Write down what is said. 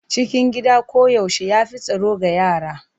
Cikin gida koyaushe ya fi tsaro ga yara.